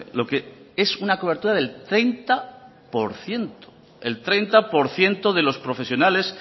lo que es una cobertura del treinta por ciento de los profesionales